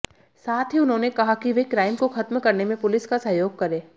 साथ ही उन्होंने कहा कि वे क्राइम को खत्म करने में पुलिस का सहयोग करें